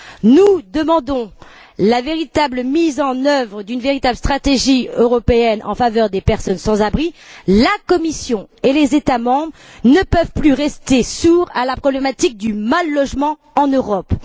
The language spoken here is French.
Nous demandons la mise en œuvre d'une véritable stratégie européenne en faveur des personnes sans abri, la Commission et les États membres ne peuvent plus rester sourds à la problématique du mal logement en Europe.